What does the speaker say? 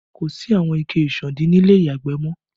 Kò sí àwọn ike ìsándí ni ilé ìyàgbẹ̀ mọ